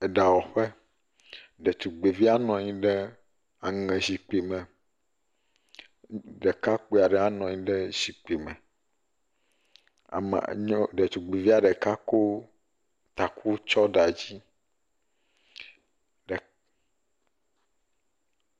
Eɖawɔƒe. Ɖetugbivia nɔ anyi ɖe aŋezikpui me. Ɖekakpui aɖe hã nɔ anyi ɖe zikpui me. Ɖetugbivia ɖeka ko taku tsɔ ɖe asi. Ɖe…